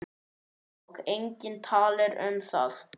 Og enginn talar um það!